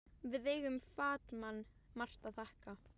Við eigum Fat-Man margt að þakka.